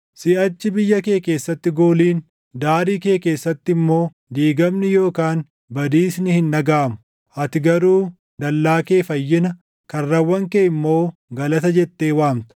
Siʼachi biyya kee keessatti gooliin, daarii kee keessatti immoo diigamni yookaan badiisni // hin dhagaʼamu; ati garuu dallaa kee Fayyina, karrawwan kee immoo Galata jettee waamta.